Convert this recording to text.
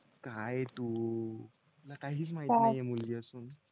काय तू तुला काहीच माहिती नाहीये मुलगी असून